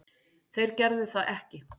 Þeir gerðu það ekki